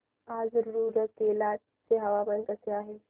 आज रूरकेला चे हवामान कसे आहे